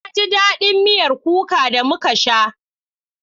Na ji daɗin miyar kukar da muka sha.